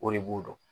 O de b'o dɔn